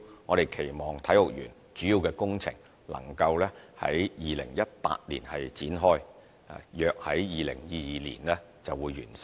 我們期望體育園的主要工程能夠於2018年展開，約於2022年完成。